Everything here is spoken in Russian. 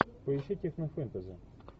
поищи технофэнтези